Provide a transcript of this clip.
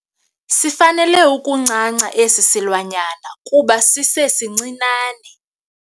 Sifanele ukuncanca esi silwanyana kuba sisesincinane.